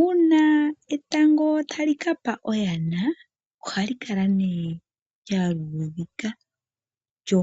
Uuna etango talikapa oyana ohalikala ne lyaludhika, lyo